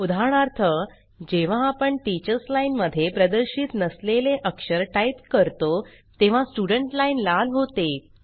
उदाहरणार्थ जेव्हा आपण टीचर्स लाइन मध्ये प्रदर्शित नसलेले अक्षर टाइप करतो तेव्हा स्टूडेंट लाइन लाल होते